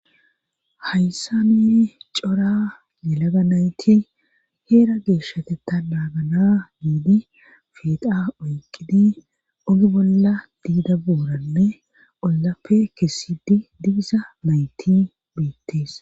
Hayssa mi cora nelaga nayti heera geeshshateta maagana miidi fida oyqidi ogi bolla diida booranne ollafe keessidi didisa mayti beittees.